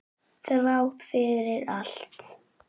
Þrátt fyrir allt.